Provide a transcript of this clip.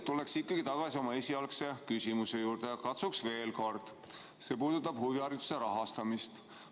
Ma tulen ikkagi tagasi oma esialgse küsimuse juurde, see puudutab huvihariduse rahastamist.